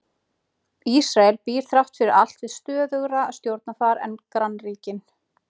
Ísrael býr þrátt fyrir allt við stöðugra stjórnarfar en grannríkin.